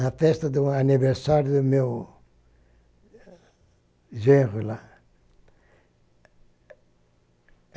na festa do aniversário do meu genro lá.